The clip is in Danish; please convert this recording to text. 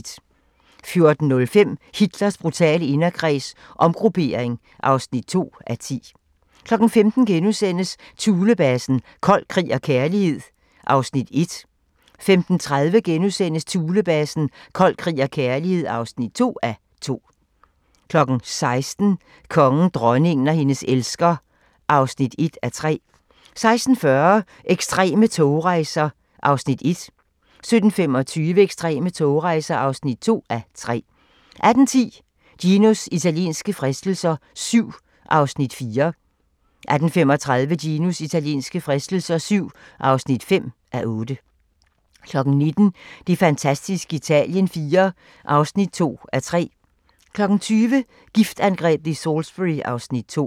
14:05: Hitlers brutale inderkreds – omgruppering (2:10) 15:00: Thulebasen - kold krig og kærlighed (1:2)* 15:30: Thulebasen - Kold krig og kærlighed (2:2)* 16:00: Kongen, dronningen og hendes elsker (1:3) 16:40: Ekstreme togrejser (1:3) 17:25: Ekstreme togrejser (2:3) 18:10: Ginos italienske fristelser VII (4:8) 18:35: Ginos italienske fristelser VII (5:8) 19:00: Det fantastiske Italien IV (2:3) 20:00: Giftangrebet i Salisbury (Afs. 2)